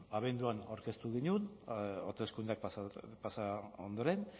abenduan aurkeztu genuen hauteskundeak pasa ondoren